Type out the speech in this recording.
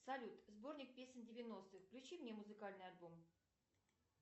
салют сборник песен девяностых включи мне музыкальный альбом